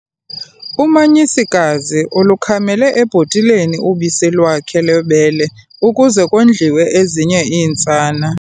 Umanyisikazi ulukhamela ebhotileni ubisi lwakhe lwebele ukuze kondliwe ezinye iintsana.